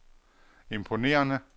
imponerende